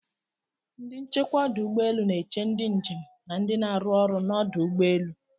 Ndị nchekwa ọdụ ụgbọelu n'eche ndị njem na ndị n'aru ọrụ n'ọdụ ụgbọelu.